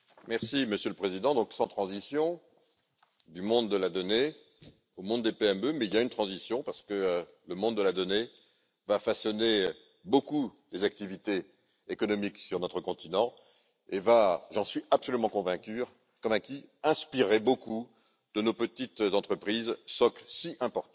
Monsieur le Président, sans transition du monde de la donnée au monde des PME mais il y a une transition, en fait, parce que le monde de la donnée va façonner beaucoup des activités économiques sur notre continent et va, j'en suis absolument convaincu, inspirer beaucoup de nos petites entreprises, socle si important